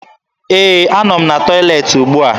Ee, anọ m na tọyịleetị ugbua